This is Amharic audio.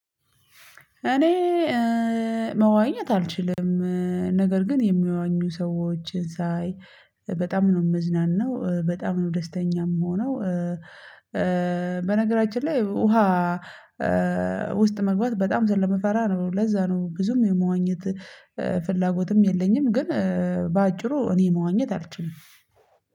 እኔ መዋኘት አልችልም ነገር ግን የሚዋኙ ሰዎች ሳይ በጣም ነው የምዝናናው፣ በጣም ነው ደስተኛ የምሆነው፣ በነገራችን ላይ ውሃ ውስጥ መግባት በጣም ስለምፈራ ነው ለዛ ነው ብዙም የመዋኘት ፍላጎትም የለኝም ግን በአጭሩ እኔ መዋኘት አልችልም።